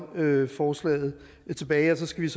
forslaget tilbage så skal